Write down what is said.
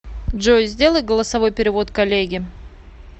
джой сделай голосовой перевод коллеге